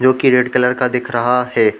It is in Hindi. जो की रेड कलर का दिख रहा है।